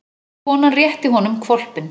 Konan rétti honum hvolpinn.